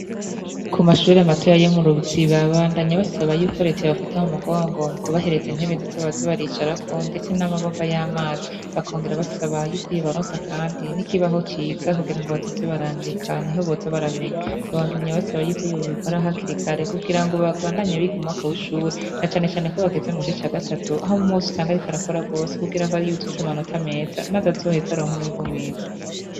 Kumashure matoya yo mu ruziba bandanya basaba yuko reta yobafata mumugongo mukubaha intebe nziza bozabaricarako ndetse namababa yamazi bakongera basaba yuko yobaronsa kandi nikibaho ciza kugira ngobazoze barandika nihoboza baramenya babandanya basaba yuko yobikora hakiri kare kugira ngo babandanye biga umwaka wishure nacane cane kobageze mugice ca gatatu ahumwe wese abariko arakora gose kugira ngo yuzuze amanota meza maze ngo azaronke umwimbu mwiza